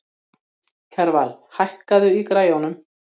Kjarval, hækkaðu í græjunum.